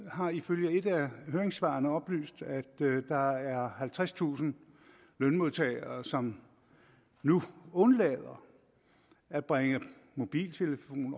har ifølge et af høringssvarene oplyst at der er halvtredstusind lønmodtagere som nu undlader at bringe mobiltelefon